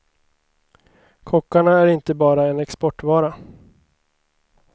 Kockarna är inte bara en exportvara.